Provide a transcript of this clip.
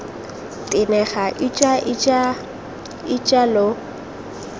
tenega ija ija ija lo